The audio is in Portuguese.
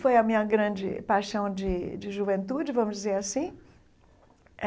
Foi a minha grande paixão de de juventude, vamos dizer assim.